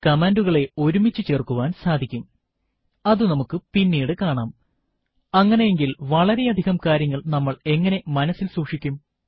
കമാൻഡുകളെ ഒരുമിച്ചു ചേർക്കുവാൻ സാധിക്കുംഅതു നമുക്ക് പിന്നീട് കാണാംഅങ്ങനെയെങ്കിൽ വളരെയധികം കാര്യങ്ങൾ നമ്മൾ എങ്ങനെ മനസ്സിൽ സൂക്ഷിക്കും